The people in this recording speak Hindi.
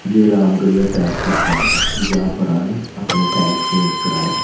जयराम गियर टायर्स की दुकान है जहां पर आये अपने टायर्स चेंज कराये--